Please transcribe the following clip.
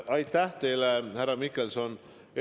Aitäh teile, härra Mihkelson!